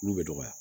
Olu bɛ dɔgɔya